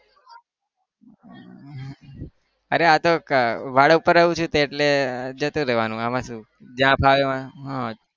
અરે આ તો ભાળા ઉપર રહું છુ એટલે જતું રેવાનું એમાં શું જ્યાં ફાવે. હા